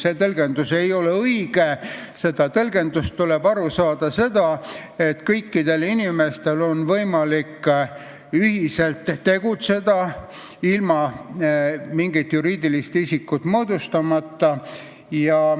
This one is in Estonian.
See tõlgendus ei ole õige, sellest tuleb aru saada nii, et kõikidel inimestel on võimalik ühiselt tegutseda ilma mingit juriidilist isikut moodustamata.